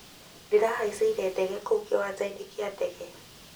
Ndĩrahaichire ndege kũu kĩwanja-inĩ kĩa ndege